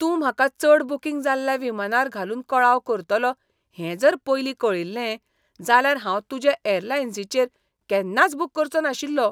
तूं म्हाका चड बूकींग जाल्ल्या विमानार घालून कळाव करतलो हें जर पयलीं कळिल्लें जाल्यार हांव तुजे ऍरलाइनीचेर केन्नाच बुक करचों नाशिल्लो.